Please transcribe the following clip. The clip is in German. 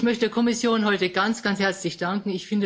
Ich möchte der Kommission heute ganz, ganz herzlich danken.